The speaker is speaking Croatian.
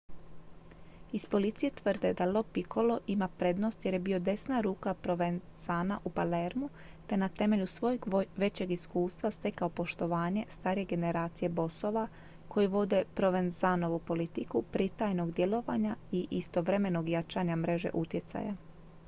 iz policije tvrde da lo piccolo ima prednost jer je bio desna ruka provenzana u palermu te je na temelju svojeg većeg iskustva stekao poštovanje starije generacije bosova koji vode provenzanovu politiku pritajenog djelovanja i istovremenog jačanja mreže utjecaja